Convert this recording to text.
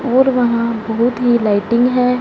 और वहां बहुत ही लाइटिंग हैं।